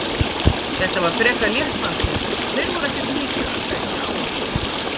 Þetta var frekar létt fannst mér og þeir voru ekkert mikið að sækja á okkur.